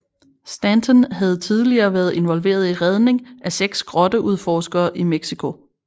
Stanton havde tidligere været involveret i redning af seks grotteudforskere i Mexico